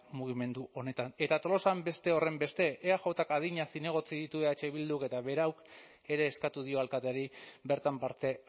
mugimendu honetan eta tolosan beste horrenbeste eajk adina zinegotzi ditu eh bilduk eta berauk ere eskatu dio alkateari bertan parte